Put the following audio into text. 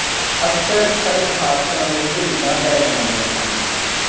ਅਕਸਰ ਸੜਕ ਹਾਦਸਿਆਂ ਵਿੱਚ ਝਰੀਟਾਂ ਪੈ ਜਾਂਦੀਆਂ ਹਨ